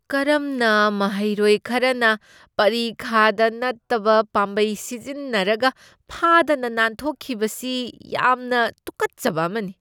ꯀꯔꯝꯅ ꯃꯍꯩꯔꯣꯏ ꯈꯔꯅ ꯄꯔꯤꯈꯥꯗ ꯅꯠꯇꯕ ꯄꯥꯝꯕꯩ ꯁꯤꯖꯤꯟꯅꯔꯒ ꯐꯥꯗꯅ ꯅꯥꯟꯊꯣꯛꯈꯤꯕꯁꯤ ꯌꯥꯝꯅ ꯇꯨꯛꯀꯠꯆꯕ ꯑꯃꯅꯤ ꯫